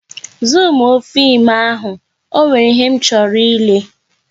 Zumuo fim ahụ, ọ nwere ihe m chọrọ ịshake